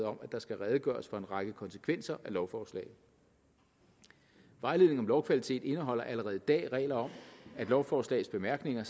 om at der skal redegøres for en række konsekvenser af lovforslaget vejledning om lovkvalitet indeholder allerede i dag regler om at lovforslagets bemærkninger